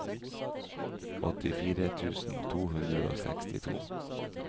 åttifire tusen to hundre og sekstito